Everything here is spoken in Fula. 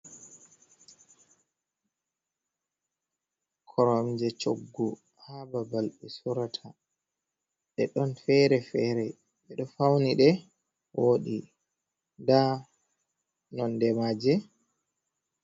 koromje choggu ha babal be surata. De don fere fere. Be do fauni de, wodi. Nda nonde maje...,